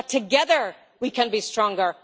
that together we can be stronger.